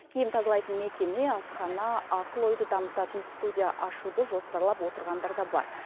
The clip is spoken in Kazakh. киім тазалайтын мекеме асхана ақыл ойды дамытатын студия ашуды жоспарлап отырғандар да бар